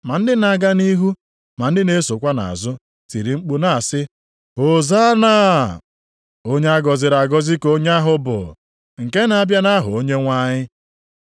Ndị na-aga nʼihu na ndị na-esokwa nʼazụ, tiri mkpu na-asị, “Hozanna!” + 11:9 Okwu a Hozanna, pụtara Zọpụta nʼasụsụ Hibru, nke mechara ghọọ mkpu otuto. “Onye a gọziri agọzi ka onye ahụ bụ nke na-abịa nʼaha Onyenwe anyị!” + 11:9 \+xt Abụ 118:25,26\+xt*